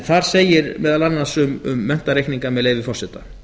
þar segir meðal annars um menntareikninga með leyfi forseta